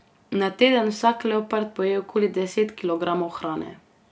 Na teden vsak leopard poje okoli deset kilogramov hrane.